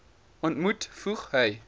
ontmoet voeg hy